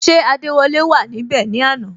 Ṣé adewole wà níbè ni àná?